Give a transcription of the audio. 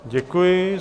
Děkuji.